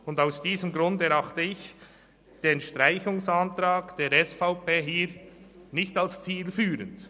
Und aus diesem Grund erachte ich den Streichungsantrag der SVP hier nicht als zielführend.